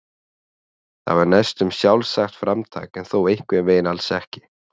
Það var næstum sjálfsagt framtak en þó einhvern veginn alls ekki.